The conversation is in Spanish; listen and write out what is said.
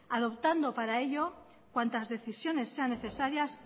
adoptando para ello cuantas decisiones sean necesarias